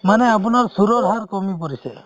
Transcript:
মানে আপোনাৰ চুৰৰ হাৰ কমি পৰিছে